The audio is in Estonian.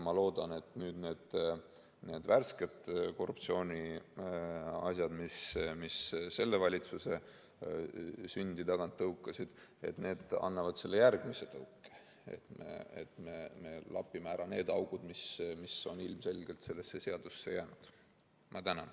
Ma loodan, et need värsked korruptsiooniasjad, mis selle valitsuse sündi tagant tõukasid, annavad selle järgmise tõuke ja me lapime ära need augud, mis on ilmselgelt sellesse seadusesse veel jäänud.